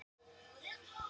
Þar er blásið til sóknar.